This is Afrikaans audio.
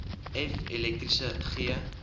f elektriese g